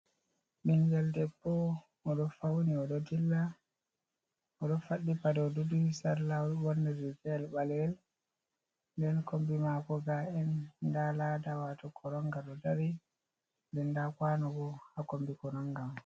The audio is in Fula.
Ɓinngel debbo o ɗo fawni o ɗo dilla, o ɗo faɗɗi pade o duhi sarla o ɗo ɓoorni riigayel ɓaleyel, nden kommbi maako ndaa laada waato koronnga ɗo dari nden nda kaano haa kommbi koronnga man.